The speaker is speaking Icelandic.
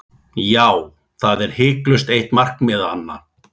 Já, það er hiklaust eitt markmiðanna.